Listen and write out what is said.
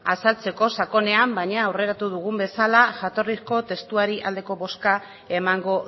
azaltzeko sakonean baina aurreratu dugun bezala jatorrizko testuari aldeko bozka emango